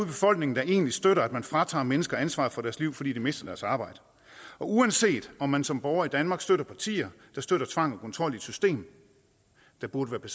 befolkningen der egentlig støtter at man fratager mennesker ansvaret for deres liv fordi de mister deres arbejde og uanset om man som borger i danmark støtter partier der støtter tvang og kontrol i et system der burde